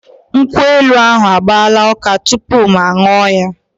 Nkwụ elu ahụ agbaala ụka tupu mụ aṅụọ ya.